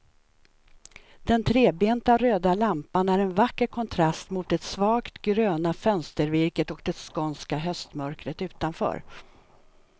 Den trebenta röda lampan är en vacker kontrast mot det svagt gröna fönstervirket och det skånska höstmörkret utanför.